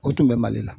O tun bɛ mali la